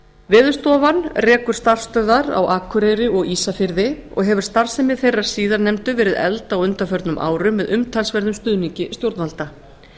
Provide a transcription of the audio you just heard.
veðurstofan rekur starfsstöðvar á akureyri og ísafirði og hefur starfsemi þeirrar síðarnefndu verið efld á undanförnum árum með umtalsverðum stuðningi stjórnvalda